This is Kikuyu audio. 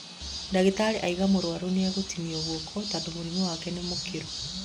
Ndagĩtarĩ auga mũrwaru nĩegũtinio guoko tondũ mũrimũ wake nĩ mũkĩru